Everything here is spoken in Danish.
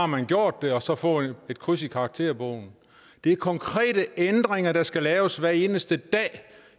man har gjort det og så få et kryds i karakterbogen det er konkrete ændringer der skal laves hver eneste dag i